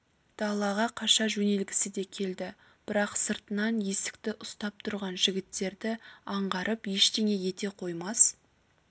далаға қаша жөнелгісі де келді бірақ сыртынан есікті ұстап тұрған жігіттерді аңғарып ештеңе ете қоймас